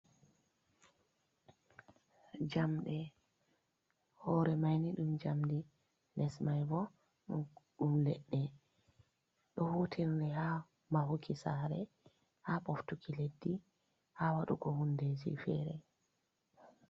Jamde hore maini dum jamdi les mai bo dum ledde. Ɗo hutirne ha mahuki sare ha boftuki leddi ha wadugo hundeji fere.